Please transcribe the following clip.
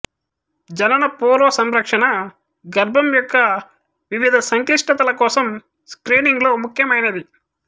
జనన పూర్వ సంరక్షణ గర్భం యొక్క వివిధ సంక్లిష్టతల కోసం స్క్రీనింగ్ లో ముఖ్యమైనది